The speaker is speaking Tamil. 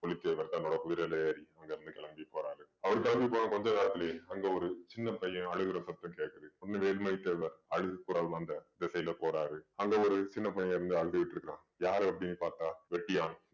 பூலித்தேவர் தன்னோட குதிரையில ஏறி அங்க இருந்து கிளம்பி போறாரு அவரு கிளம்பி போன கொஞ்ச நேரத்திலேயே அங்க ஒரு சின்ன பையன் அழுகிற சத்தம் கேக்குது உடனே வேலுமணி தேவர் அழுகுரல் வந்த திசையில போறாரு அங்க ஒரு சின்னப் பையன் இருந்து அழுதுகிட்டு இருக்கிறான் யாரு அப்படின்னு பார்த்தா வெட்டியான்